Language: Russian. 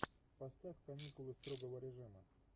поставь каникулы строгого режима